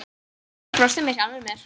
Ég brosti með sjálfri mér.